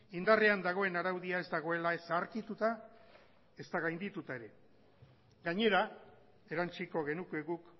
indarrean dagoen araudia ez dagoela ez zaharkituta ezta gaindituta ere gainera erantsiko genuke guk